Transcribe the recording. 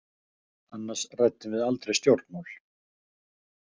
Annars ræddum við aldrei stjórnmál.